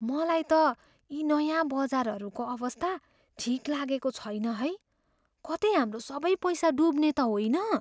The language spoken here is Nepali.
मलाई त यी नयाँ बजारहरूको अवस्था ठिक लागेको छैन है। कतै हाम्रो सबै पैसा डुब्ने त होइन?